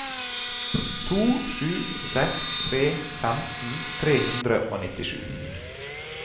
to sju seks tre femten tre hundre og nittisju